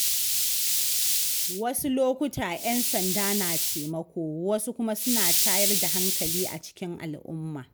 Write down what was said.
Wasu lokuta 'yan sanda na taimako wasu kuma suna tayar da hankali a cikin al'umma.